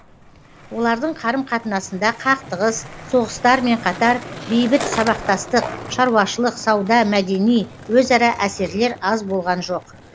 олардың карым қатынасында қақтығыс соғыстармен қатар бейбіт сабақтастық шаруашылық сауда мәдени өзара әсерлер аз болған жоқ